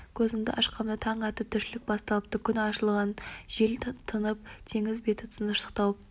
көзімді ашқанымда таң атып тіршілік басталыпты күн ашылған жел тынып теңіз беті тыныштық тауыпты